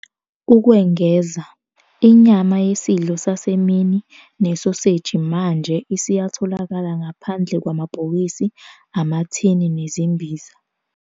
Ukwengeza, inyama yesidlo sasemini nesoseji manje isiyatholakala ngaphandle kwamabhokisi emathini nezimbiza.